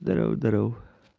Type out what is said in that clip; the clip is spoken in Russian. здорово здорово